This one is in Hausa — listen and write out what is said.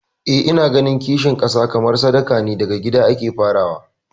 Eh ina ganin kishin kasa kamar sadaka ne, daga gida ake farawa.